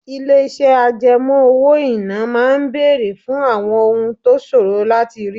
Ilé-iṣẹ́ àjẹmọ́ owó-ìná máa ń béèrè fún àwọn ohun tó ṣòro láti rí